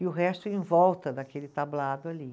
E o resto em volta daquele tablado ali.